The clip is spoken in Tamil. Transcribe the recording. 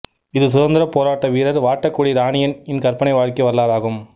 இது சுதந்திர போராட்ட வீரர் வாட்டக்குடி இராணியன் இன் கற்பனை வாழ்க்கை வரலாறு ஆகும்